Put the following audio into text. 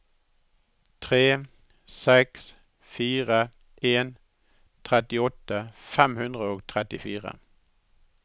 tre seks fire en trettiåtte fem hundre og trettifire